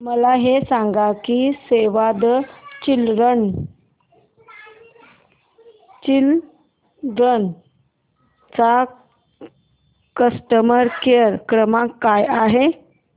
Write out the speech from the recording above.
मला हे सांग की सेव्ह द चिल्ड्रेन चा कस्टमर केअर क्रमांक काय आहे